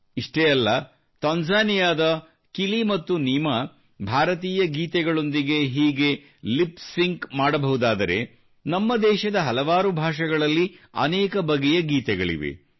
ಇಷ್ಟೇ ಅಲ್ಲ ತಾಂಜೇನಿಯಾದ ಕಿಲಿ ಮತ್ತು ನೀಮಾ ಭಾರತೀಯ ಗೀತೆಗಳೊಂದಿಗೆ ಹೀಗೆ ಲಿಪ್ ಸಿಂಕ್ ಮಾಡಬಹುದಾದರೆ ನಮ್ಮ ದೇಶದ ಹಲವಾರು ಭಾಷೆಗಳಲ್ಲಿ ಅನೇಕ ಬಗೆಯ ಗೀತೆಗಳಿವೆ